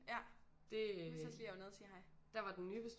Ja jeg husker også lige at jeg var nede og sige hej